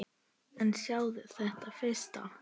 En sjáðu þetta fyrst!